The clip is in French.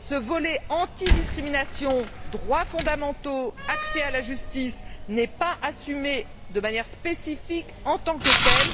Ce volet anti discrimination, droits fondamentaux, accès à la justice n'est pas assumé de manière spécifique en tant que tel.